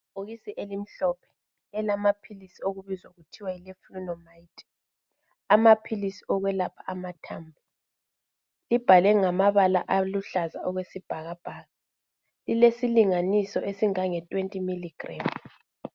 Ibhokisi elimhlophe elilamaphilisi okubizwa kuthiwa yi leflunomide Amaphilisi okwelapha amathambo. Libhalwe ngamabala aluhlaza okwesibhakabhaka ilesilinganiso esingange twenti miligremu.